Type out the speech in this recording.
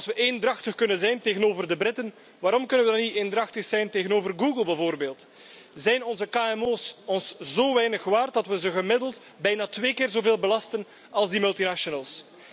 Als we eendrachtig kunnen zijn tegenover de Britten, waarom kunnen we dan niet eendrachtig zijn tegenover Google bijvoorbeeld? Zijn onze kmo's ons zo weinig waard dat we ze gemiddeld bijna twee keer zoveel belasten als die multinationals?